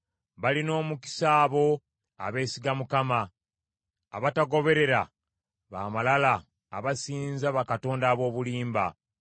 Balina omukisa abo abeesiga Mukama , abatagoberera ba malala abasinza bakatonda ab’obulimba.